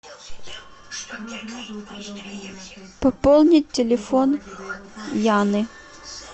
пополнить телефон яны